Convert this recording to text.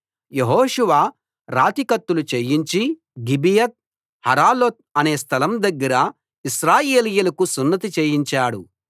యెహోషువ రాతి కత్తులు చేయించి గిబియత్ హరాలోత్ అనే స్థలం దగ్గర ఇశ్రాయేలీయులకు సున్నతి చేయించాడు